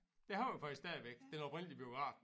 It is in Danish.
Den har vi faktisk stadigvæk den oprindelige biograf